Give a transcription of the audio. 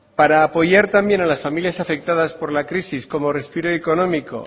para apoyar también a las familias afectadas por la crisis como respiro económico